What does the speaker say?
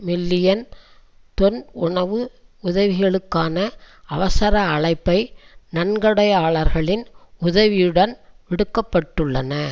million tonne உணவு உதவிகளுக்கான அவசர அழைப்பை நன்கொடையாளர்களின் உதவியுடன் விடுக்கப்பட்டுள்ளன